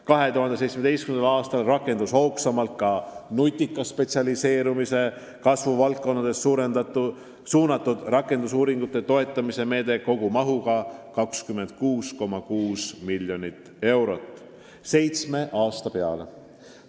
2017. aastal rakendus hoogsamalt nutika spetsialiseerumise kasvu valdkondadesse suunatud rakendusuuringute toetamise meede kogumahuga 26,6 miljonit eurot seitsme aasta peale.